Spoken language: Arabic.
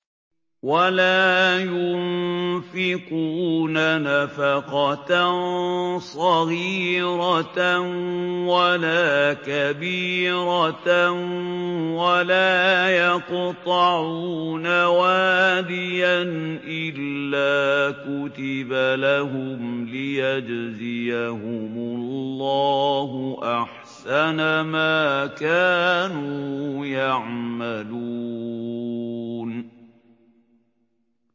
وَلَا يُنفِقُونَ نَفَقَةً صَغِيرَةً وَلَا كَبِيرَةً وَلَا يَقْطَعُونَ وَادِيًا إِلَّا كُتِبَ لَهُمْ لِيَجْزِيَهُمُ اللَّهُ أَحْسَنَ مَا كَانُوا يَعْمَلُونَ